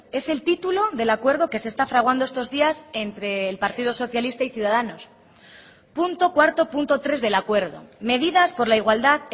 es el título del acuerdo que se está fraguando estos días entre el partido socialista y ciudadanos punto cuarto punto tres del acuerdo medidas por la igualdad